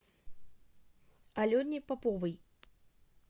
алене поповой